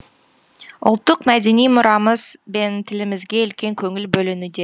ұлттық мәдени мұрамыз бен тілімізге үлкен көңіл бөлінуде